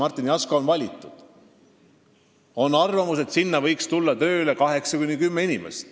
Arvatakse, et sinna võiks tööle võtta 8–10 inimest.